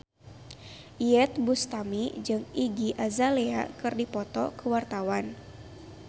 Iyeth Bustami jeung Iggy Azalea keur dipoto ku wartawan